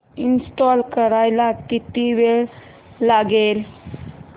install करायला किती वेळ लागेल